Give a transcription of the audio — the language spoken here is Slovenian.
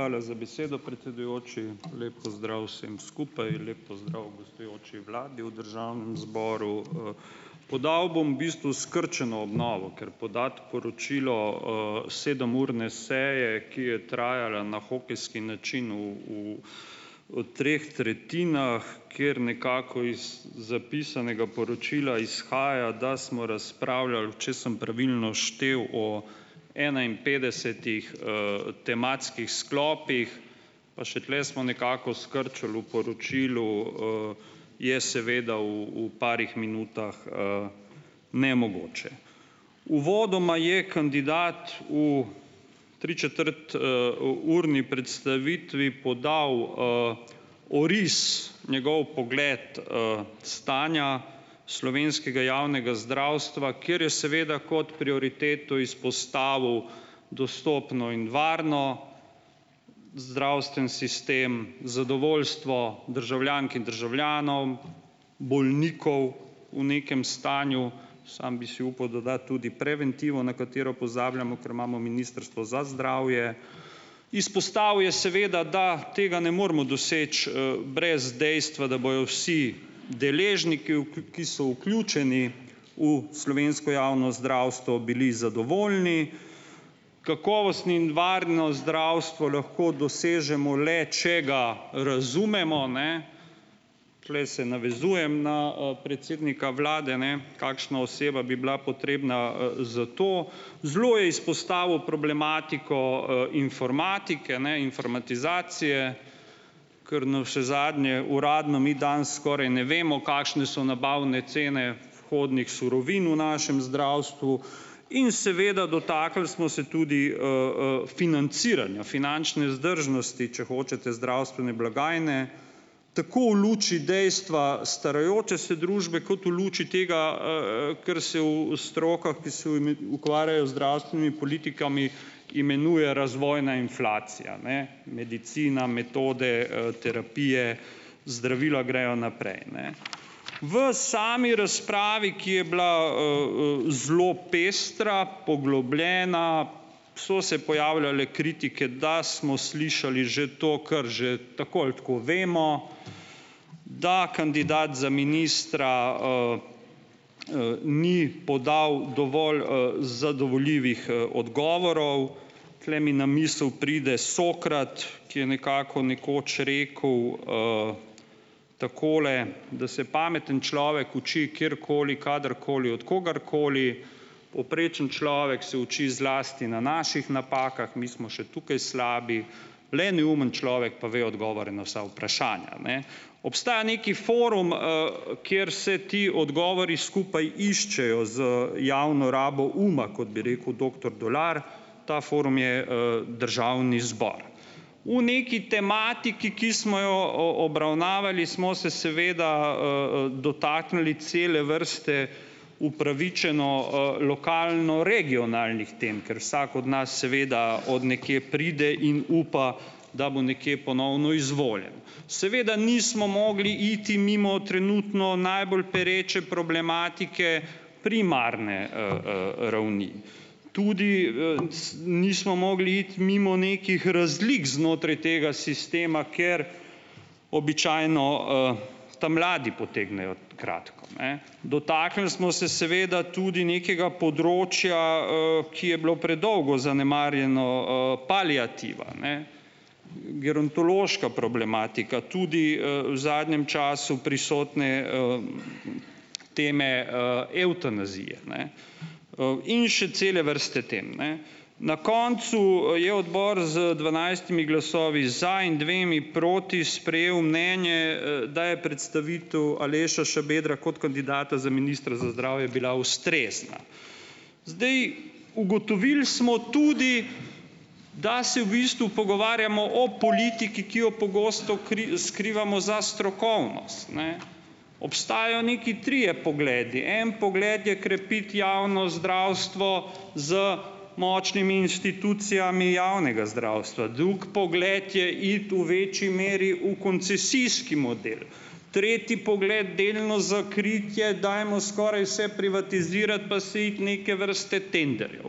Hvala za besedo, predsedujoči. Lep pozdrav vsem skupaj, lep pozdrav gostujoči vladi v državnem zboru, Podal bom bistvu skrčeno obnovo, ker podati poročilo, sedemurne seje, ki je trajala na hokejski način v, v, v treh tretjinah, ker nekako iz zapisanega poročila izhaja, da smo razpravljali, če sem pravilno štel, o enainpetdesetih, tematskih sklopih, pa še tule smo nekako skrčili v poročilu, je seveda v, v parih minutah, nemogoče. Uvodoma je kandidat v tričetrt-, urni predstavitvi podal, oris, njegov pogled, stanja slovenskega javnega zdravstva, ker je seveda kot prioriteto postavil dostopen in varen zdravstveni sistem, zadovoljstvo državljank in državljanov, bolnikov v nekem stanju, sam bi si upal dodati tudi preventivo, na katero pozabljamo, ker imamo ministrstvo za zdravje. Izpostavil je seveda, da tega ne moremo doseči, brez dejstva, da bojo vsi deležniki ki so vključeni v slovensko javno zdravstvo, bili zadovoljni. Kakovost in varno zdravstvo lahko dosežemo le, če ga razumemo, ne, tule se navezujem na, predsednika vlade, ne, kakšna oseba bi bila potrebna, za to. Zelo je izpostavil problematiko, informatike, ne, informatizacije, kar navsezadnje uradno mi danes skoraj ne vemo, kakšne so nabavne cene vhodnih surovin v našem zdravstvu, in seveda dotaknili smo se tudi, financiranja, finančne vzdržnosti, če hočete zdravstvene blagajne, tako v luči dejstva starajoče se družbe kot v luči tega, ker se v strokah, ki se ukvarjajo zdravstvenimi politikami, imenuje razvojna inflacija, ne. Medicina, metode, terapije, zdravila grejo naprej, ne. V sami razpravi, ki je bila, zelo pestra, poglobljena, so se pojavljale kritike, da smo slišali že to, kar že tako ali tako vemo, da kandidat za ministra, ni podal dovolj, zadovoljivih, odgovorov. Tule mi na misel pride Sokrat, ki je nekako, nekoč rekel, takole: "Da se pameten človek uči kjerkoli, kadarkoli, od kogarkoli, povprečen človek se uči zlasti na naših napakah, mi smo še tukaj slabi, le neumen človek pa ve odgovore na vsa vprašanja, ne." Obstaja neki forum, kjer se ti odgovori skupaj iščejo z javno rabo uma, kot bi rekel doktor Dolar, ta forum je, državni zbor. V neki tematiki, ki smo jo obravnavali, smo se seveda, dotaknili cele vrste upravičeno, lokalno-regionalnih tem , ker vsak od nas seveda od nekje pride in upa, da bo nekje ponovno izvoljen. Seveda nismo mogli iti mimo trenutno najbolj pereče problematike primarne, , ravni. Tudi, nismo mogli iti mimo nekih razlik znotraj tega sistema, ker običajno, ta mladi potegnejo kratko, ne. Dotaknili smo se seveda tudi nekega področja, ki je bilo predolgo zanemarjeno, paliativa, ne. Gerontološka problematika, tudi, v zadnjem času prisotne, teme, evtanazije, ne. in še cele vrste tem, ne. Na koncu, je odbor z dvanajstimi glasovi za in dvema proti sprejel mnenje, da je predstavitev Aleša Šabedra kot kandidata Ministra za zdravje bila ustrezna. Zdaj, ugotovili smo tudi , da se v bistvu pogovarjamo o politiki , ki jo pogosto skrivamo za strokovnost, ne. Obstajajo neki trije pogledi, en pogled je krepiti javno zdravstvo z močnimi institucijami javnega zdravstva. Drugi pogled je iti v večji meri v koncesijski model. Treti pogled: delno za kritje dajemo skoraj vse, privatizirati pa se iti neke vrste tenderjev.